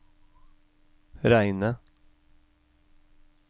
reine